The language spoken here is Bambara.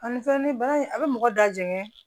Ani fɛn ni bana in a bɛ mɔgɔ da jɛngɛ